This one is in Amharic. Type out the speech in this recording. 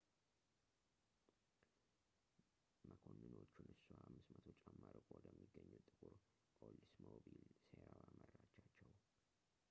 መኮንኖቹን እሷ 500 ጫማ ርቆ ወደሚገኘው ጥቁር ኦልድስሞቢል ሴራዋ መራቻቸው